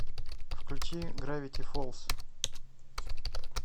включи гравити фолз